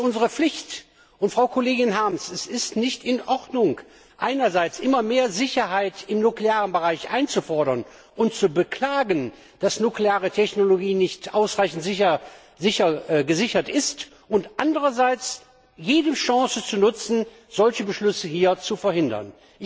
Das ist unsere Pflicht. Frau Kollegin Harms, es ist nicht in Ordnung, einerseits immer mehr Sicherheit im nuklearen Bereich einzufordern und zu beklagen, dass nukleare Technologien nicht ausreichend gesichert sind, und andererseits jede Chance zu nutzen, solche Beschlüsse hier zu verhindern.